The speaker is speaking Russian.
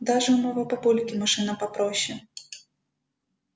даже у моего папульки машина попроще